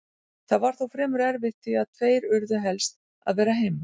Það var þó fremur erfitt því að tveir urðu helst að vera heima.